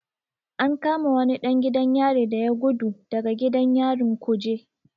An kama wani ɗan gidan yari da ya gudu daga gidan yarin kuje.